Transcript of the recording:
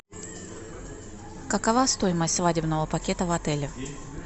какова стоимость свадебного пакета в отеле